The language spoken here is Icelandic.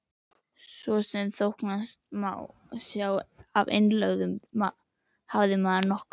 Svo sem þóknanlegast má sjá af innlögðu, hafði maður nokkur